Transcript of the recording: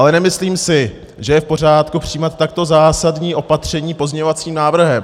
Ale nemyslím si, že je v pořádku přijímat takto zásadní opatření pozměňovacím návrhem.